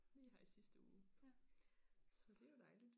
Lige her i sidste uge så det jo dejligt